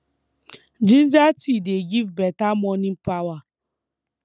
ginger tea dey give beta morning power